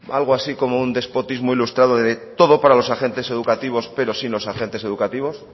algo así como un despotismo ilustrado de todo para los agentes educativos pero sin los agentes educativos